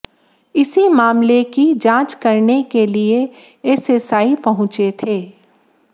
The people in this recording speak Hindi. इसी मामले की जांच करने के लिए एसएसआई पहुंचे थे